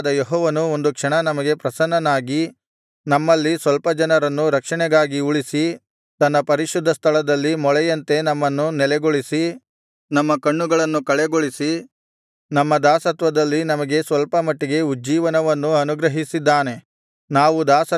ಆದರೂ ನಮ್ಮ ದೇವರಾದ ಯೆಹೋವನು ಒಂದು ಕ್ಷಣ ನಮಗೆ ಪ್ರಸನ್ನನಾಗಿ ನಮ್ಮಲ್ಲಿ ಸ್ವಲ್ಪ ಜನರನ್ನು ರಕ್ಷಣೆಗಾಗಿ ಉಳಿಸಿ ತನ್ನ ಪರಿಶುದ್ಧಸ್ಥಳದಲ್ಲಿ ಮೊಳೆಯಂತೆ ನಮ್ಮನ್ನು ನೆಲೆಗೊಳಿಸಿ ನಮ್ಮ ಕಣ್ಣುಗಳನ್ನು ಕಳೆಗೊಳಿಸಿ ನಮ್ಮ ದಾಸತ್ವದಲ್ಲಿ ನಮಗೆ ಸ್ವಲ್ಪಮಟ್ಟಿಗೆ ಉಜ್ಜೀವನವನ್ನು ಅನುಗ್ರಹಿಸಿದ್ದಾನೆ